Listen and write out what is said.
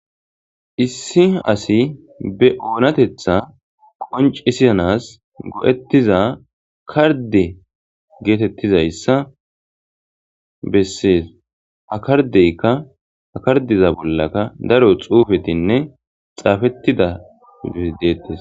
issi asi be oonatetha qoncisizanas go7ettiza karde geetettizayssa bessees hakardeykka akardiza bollaka daro xuufetinne xaafettida iof deettes